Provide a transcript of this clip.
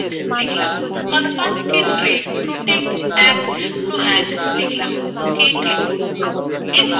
confirm ক্ষেত্রএ আমি আমার পাসওয়ার্ড protect101 পুনরায় লিখব ok click করুন